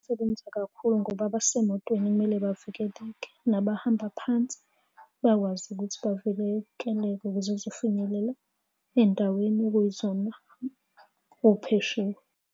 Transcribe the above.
Isebenza kakhulu ngoba abasemotweni kumele bavikeleke, nabahamba phansi bayakwazi ukuthi bavikeleke ukuze kuzofinyelela ey'ndaweni okuyizona .